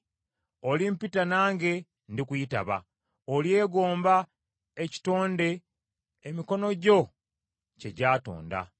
Olimpita nange ndikuyitaba; olyegomba ekitonde emikono gyo kye gyatonda.